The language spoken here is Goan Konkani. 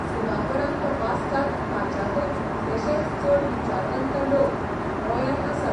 सुनापरान्त वाचतात ताच्याकय कितलेशेच चड विचारवंत लोक गौयांत आसात.